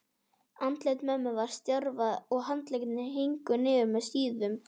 Andlit mömmu var stjarft og handleggirnir héngu niður með síðum.